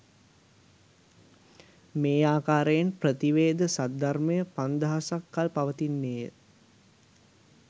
මේ ආකාරයෙන් ප්‍රතිවේද සද්ධර්මය පන්දහසක් කල් පවතින්නේ ය